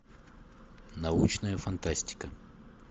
научная фантастика